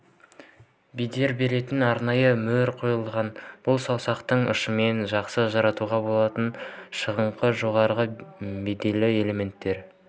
бедер беретін арнайы мөр қойылған бұл саусақтың ұшымен жақсы ажыратуға болатын шығыңқы жоғары бедерлі элементтер